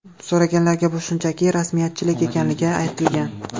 So‘raganlarga bu shunchaki rasmiyatchilik ekanligini aytgan.